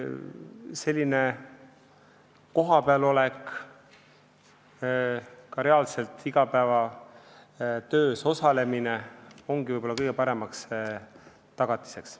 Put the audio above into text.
Selline kohapeal olek, ka reaalselt igapäevatöös osalemine ongi võib-olla kõige parem tagatis.